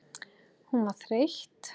Hún var þreytt.